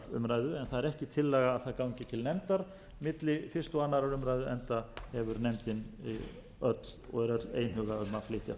það er ekki tillaga að það gangi til nefndar milli fyrstu og annarrar umræðu enda hefur nefndin öll og er öll einhuga um að flytja það